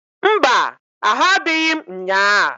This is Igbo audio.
Mba! Ahụ adịghị m nnyaa.